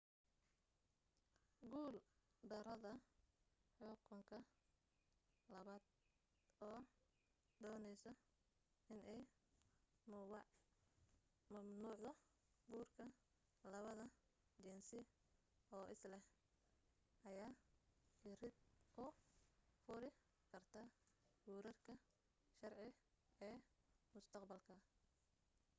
guul darada xukunka labaad oo dooneyso inay mamnuucdo guurka labada jinsi oo isleh ayaa irid u furi kartaa guurarka sharci ee mustaqbalka